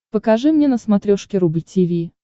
покажи мне на смотрешке рубль ти ви